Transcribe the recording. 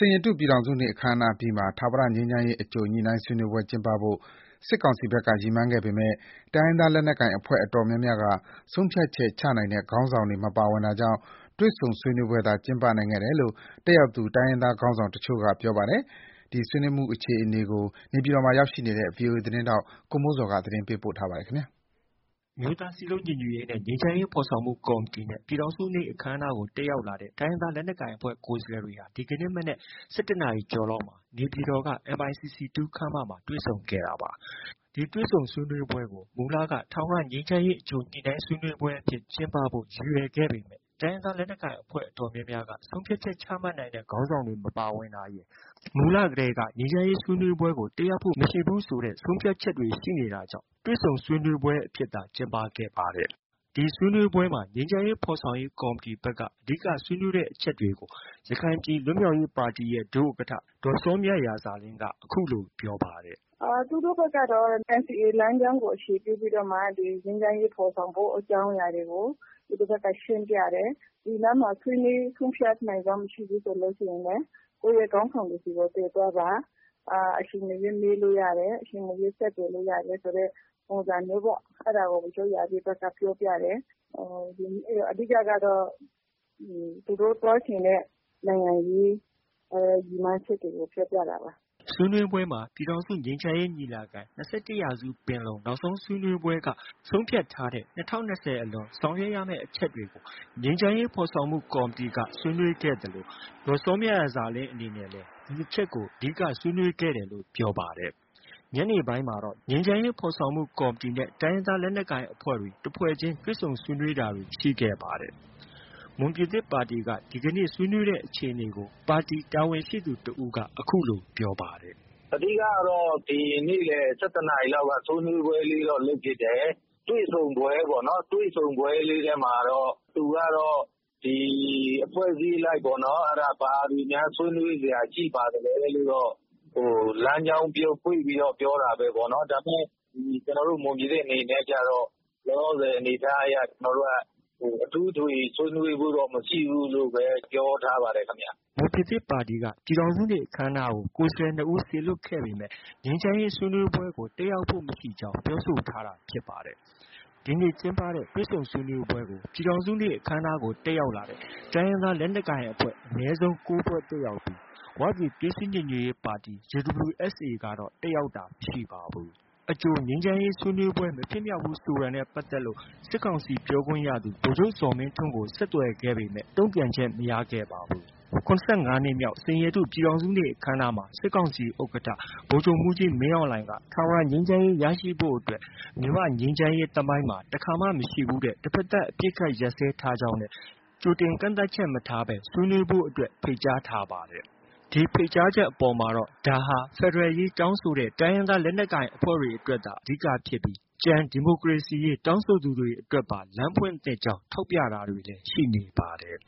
န်ရတု ပြည်ထောင်စုနေ့ အခမ်းအနားအပြီးမှာ ထာဝရငြိမ်းချမ်းရေး အကြိုညှိနှိုင်းဆွေးနွေးပွဲ ကျင်းပဖို့ စစ်ကောင်စီဘက်က ရည်မှန်းခဲ့ပေမယ့် တိုင်းရင်းသား လက်နက်ကိုင်အဖွဲ့ အတော်များများက ဆုံးဖြတ်ချက်ချမှတ်နိုင်တဲ့ ခေါင်းဆောင်တွေ မပါဝင်တာကြောင့် တွေ့ဆုံဆွေးနွေးပွဲသာ ကျင်းပနိုင်ခဲ့တယ်လို့ တက်ရောက်သူ တိုင်းရင်းသားခေါင်းဆောင်တချို့က ပြောပါတယ်။ ဒီနေ့ ဆွေးနွေးမှု အခြေအနေကို နေပြည်တော်မှာ ရောက်ရှိနေတဲ့ ဗွီအိုအေသတင်းထောက် ကိုမိုးဇော်က တင်ပြထားပါတယ်။ အမျိုးသားစည်းလုံးညီညွတ်ရေးနှင့် ငြိမ်းချမ်းရေးဖော်ဆောင်မှု ကော်မတီနဲ့ ပြည်ထောင်စုနေ့ အခမ်းအနားကို တက်ရောက်လာတဲ့ တိုင်းရင်းသား လက်နက်ကိုင်အဖွဲ့ ကိုယ်စားလှယ်တွေ ဒီကနေ့မနက် ၁၁ နာရီကျော်လောက်မှာ နေပြည်တော် MICC 2 ခန်းမမှာ တွေ့ဆုံခဲ့တာပါ။ ဒီတွေ့ဆုံဆွေးနွေးပွဲကို မူလက ထာဝရငြိမ်းချမ်းရေး အကြိုညှိနှိုင်းဆွေးနွေးပွဲအဖြစ် ကျင်းပဖို့ ရည်ရွယ်ခဲ့ပေမယ့် တိုင်းရင်းသား လက်နက်ကိုင်အဖွဲ့ အတော်များများက ဆုံးဖြတ်ချက်ချမှတ်နိုင်တဲ့ ခေါင်းဆောင်တွေ မပါဝင်တာရယ်၊ မူလတည်းက ငြိမ်းချမ်းရေးဆွေးနွေးပွဲကို တက်ရောက်ဖို့ မရှိဘူးဆိုတဲ့ ဆုံးဖြတ်ချက်တွေကြောင့် တွေ့ဆုံဆွေးနွေးပွဲအဖြစ်သာ ကျင်းပဖြစ်ခဲ့တာလည်း ဖြစ်ပါတယ်။ ဒီဆွေးနွေးပွဲမှာ ငြိမ်းချမ်းရေးဖော်ဆောင်ရေး ကော်မတီဘက်က အဓိကဆွေးနွေးတဲ့ အချက်တွေကို ရခိုင်ပြည်လွတ်မြောက်ရေးပါတီရဲ့ ဒုဥက္ကဋ္ဌ ဒေါ်စောမြရာဇာလင်းက အခုလို ပြောပါတယ်။ “သူတို့ဘက်ကတော့ NCA လမ်းကြောင်းကို အခြေပြုပြီးတော့မှ ငြိမ်းချမ်းရေးဖော်ဆောင်ဖို့ အကြောင်းအရာတွေကို သူတို့ဘက်က ရှင်းပြတယ်။ ဒီမှာ ဆွေးနွေး ဆုံးဖြတ်နိုင်စွမ်း မရှိဘူးဆိုရင်လည်း ကိုယ့်ရဲ့ ခေါင်းဆောင်တွေဆီကို တင်ပြပါ။ အချိန်မရွေး မေးလို့ရတယ်၊ အချိန်မရွေး ဆက်သွယ်လို့ရတယ် ဆိုတဲ့ ပုံစံမျိုးပေါ့။ အဲဒါကို ဗိုလ်ချုပ်ရာပြည့်ဘက်က ပြောပြတယ်။ အဓိကတော့ သူတို့ပြောချင်တဲ့ နိုင်ငံရေး ရည်မှန်းချက်တွေကို ပြောပြတာပါ။” ဆွေးနွေးပွဲမှာ ပြည်ထောင်စုငြိမ်းချမ်းရေးညီလာခံ ၂၁ ရာစုပင်လုံ နောက်ဆုံးဆွေးနွေးပွဲက ဆုံးဖြတ်ထားတဲ့ ၂၀၂၀ အလွန် ဆောင်ရွက်ရမယ့် အချက်တွေကို ငြိမ်းချမ်းရေးဖော်ဆောင်မှု ကော်မတီက ဆွေးနွေးသလို ဒေါ်စောမြရာဇာလင်း အနေနဲ့ ဒီအချက်ကို အဓိက ဆွေးနွေးခဲ့တယ်လို့ ပြောပါတယ်။ ညနေပိုင်းမှာတော့ ငြိမ်းချမ်းရေးဖော်ဆောင်မှု ကော်မတီနဲ့ တိုင်းရင်းသား လက်နက်ကိုင်အဖွဲ့တွေ တဖွဲ့ချင်း တွေ့ဆုံဆွေးနွေးတာတွေ ရှိခဲ့ပါတယ်။ မွန်ပြည်သစ်ပါတီက ဒီနေ့ ဆွေးနွေးခဲ့ကြတဲ့ အခြေအနေကို ပါတီ တာဝန်ရှိသူတဦးက အခုလို ပြောပါတယ်။ “အဓိကကတော့ နေ့လယ် ၁၁ နာရီလောက် ဆွေးနွေးပွဲလေးတော့ လုပ်ဖြစ်တယ်။ တွေ့ဆုံပွဲပေါ့။ တွေ့ဆုံပွဲလေးမှာတော့ သူကတော့ အဖွဲ့အစည်းအလိုက်ပေါ့နော်၊ ဘာတွေများ ဆွေးနွေးစရာ ရှိပါသလဲလို့တော့ လမ်းကြောင်းဖွင့်ပြီးတော့ ပြောတာပဲပေါ့နော်။ ဒါပေမယ့် ကျနော်တို့ မွန်ပြည်သစ်အနေနဲ့ကျတော့ လောလောဆယ် အနေအထားအရ ကျနော်တို့က အထူးအထွေ ဆွေးနွေးဖို့တော့ မရှိဘူးလို့ပဲ ပြောထားပါတယ်ခင်ဗျ။” မွန်ပြည်သစ်ပါတီ ပြည်ထောင်စုနေ့ အခမ်းအနားကို ကိုယ်စားလှယ် ၂ ဦး စေလွှတ်ခဲ့ပေမယ့် ငြိမ်းချမ်းရေးဆွေးနွေးပွဲကို တက်ရောက်ဖို့မရှိကြောင်း ပြောဆိုထားတာ ဖြစ်ပါတယ်။ ဒီနေ့ကျင်းပတဲ့ တွေ့ဆုံဆွေးနွေးပွဲကို ပြည်ထောင်စုနေ့ အခမ်းအနားကို တက်ရောက်လာတဲ့ တိုင်းရင်းသား လက်နက်ကိုင်အဖွဲ့ အနည်းဆုံး ၉ ဖွဲ့ တက်ရောက်ပြီး ဝပြည်သွေးစည်းညီညွတ်ရေးပါတီ ကတော့ တက်ရောက်တာ မရှိပါဘူး။ အကြိုငြိမ်းချမ်းရေးဆွေးနွေးပွဲ မဖြစ်မြောက်ဘူးဆိုတာနဲ့ ပတ်သက်လို့ စစ်ကောင်စီ ပြောခွင့်ရသူ ဗိုလ်ချုပ်ဇော်မင်းထွန်းကို ဆက်သွယ်ခဲ့ပေမယ့် တုံ့ပြန်ချက် မရခဲ့ပါဘူး။ ၇၅ နှစ်မြောက် စိန်ရတု ပြည်ထောင်စုနေ့ အခမ်းအနားမှာ စစ်ကောင်စီဥက္ကဋ္ဌ ဗိုလ်ချုပ်မှူးကြီးမင်းအောင်လှိုင်က ထာဝရငြိမ်းချမ်းရေး ရရှိဖို့အတွက် မြန်မာ့ငြိမ်းချမ်းရေးသမိုင်းမှာ တခါမှ မရှိဘူးတဲ့ တဖက်သတ် အပစ်အခတ် ရပ်စဲထားကြောင်းနဲ့ ကြိုတင်ကန့်သတ်ချက် မထားတဲ့ ဆွေးနွေးပွဲကို ဖိတ်ကြားထားပါတယ်။ ဒီဖိတ်ကြားချက်အပေါ်မှာတော့ ဒါဟာ ဖက်ဒရယ်ရေး တောင်းဆိုတဲ့ တိုင်းရင်းသား လက်နက်ကိုင်တွေအတွက်သာ အဓိကဖြစ်ပြီး ကျန် ဒီမိုကရေစီရေး တောင်းဆိုသူတွေအတွက်ပါ လမ်းဖွင့်သင့်ကြောင်း ထောက်ပြတာတွေလည်း ရှိနေပါတယ်